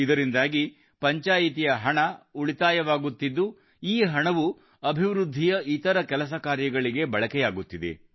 ಇದರಿಂದಾಗಿ ಪಂಚಾಯಿತಿಯ ಹಣ ಉಳಿತಾಯವಾಗುತ್ತಿದ್ದು ಈ ಹಣವು ಅಭಿವೃದ್ಧಿಯ ಇತರ ಕೆಲಸ ಕಾರ್ಯಗಳಿಗೆ ಬಳಕೆಯಾಗುತ್ತಿದೆ